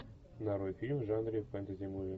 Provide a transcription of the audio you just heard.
нарой фильм в жанре фэнтези муви